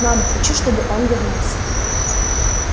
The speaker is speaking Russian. мама хочу чтобы он вернулся